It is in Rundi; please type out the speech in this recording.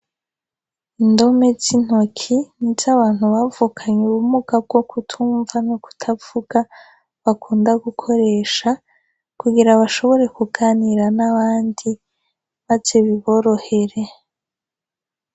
indome zintoki nizabantu bavukanye ubumuga bwo kutumva no kutavuga bakunda gukoresha kugera bashobore kuganira nabandi maze biborohere